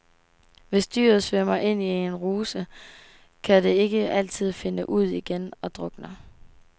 Hvis dyret svømmer ind i en ruse, kan det ikke altid finde ud igen og drukner.